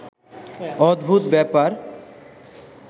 অদ্ভুত ব্যাপার